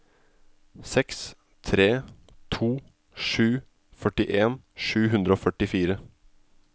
seks tre to sju førtien sju hundre og førtifire